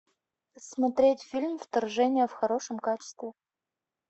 смотреть фильм вторжение в хорошем качестве